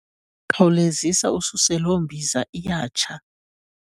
Khawulezisa ususe loo mbiza iyatsha.